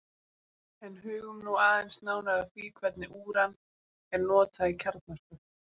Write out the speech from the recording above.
en hugum nú aðeins nánar að því hvernig úran er notað í kjarnorku